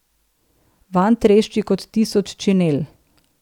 Vanj trešči kot tisoč činel.